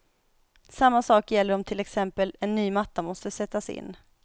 Samma sak gäller om till exempel en ny matta måste sättas in.